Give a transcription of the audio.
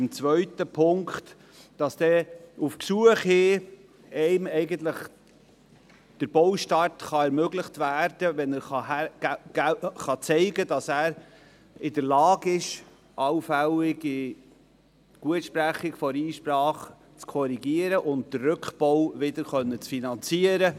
Beim zweiten Punkt, wonach dem Bauherrn der Baustart auf Gesuch hin ermöglicht werden solle, wenn er zeigen könne, dass er in der Lage ist, eine allfällige Gutsprechung der Einsprache zu korrigieren und den Rückbau zu finanzieren.